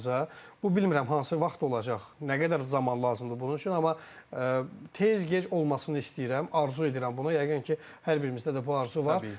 Bu bilmirəm hansı vaxt olacaq, nə qədər zaman lazımdır bunun üçün, amma tez-gec olmasını istəyirəm, arzu edirəm bunu, yəqin ki, hər birimizdə də bu arzu var.